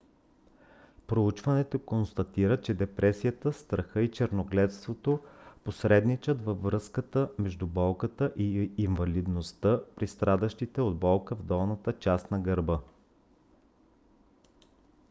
проучването констатира че депресията страха и черногледството посредничат във връзката между болката и инвалидността при страдащите от болка в долната част на гърба